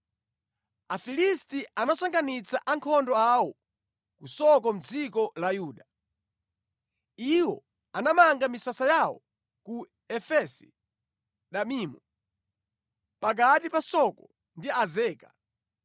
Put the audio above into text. Afilisti anasonkhanitsa ankhondo awo ku Soko mʼdziko la Yuda. Iwo anamanga misasa yawo ku Efesi-Damimu, pakati pa Soko ndi Azeka.